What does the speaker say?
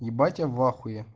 ебать я в ахуе